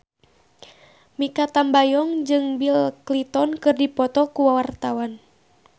Mikha Tambayong jeung Bill Clinton keur dipoto ku wartawan